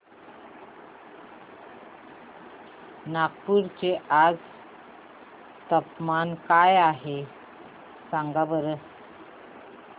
नागपूर चे आज चे तापमान काय आहे सांगा बरं